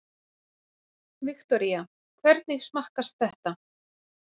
Viktoría: Hvernig smakkast þetta?